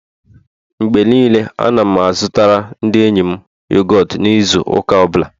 Mgbe niile, Ana m azụtara ndi enyi m yogọt n'izu ụka ọ bụla